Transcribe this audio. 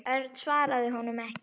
Örn svaraði honum ekki.